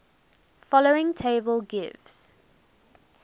following table gives